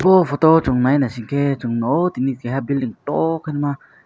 aw photo o chung nahi nasing ke Chung o keha building tohh ke na.